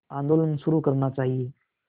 आंदोलन शुरू करना चाहिए